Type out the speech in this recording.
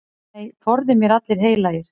Nei, forði mér allir heilagir.